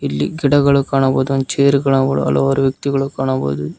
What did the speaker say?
ಇಲ್ಲಿ ಗಿಡಗಳು ಕಾಣಬಹುದ ಹಂಗೆ ಒಂದ ಚೇರು ಗಳ ಹಲವಾರು ವ್ಯಕ್ತಿಗಳು ಕಾಣಬಹುದು.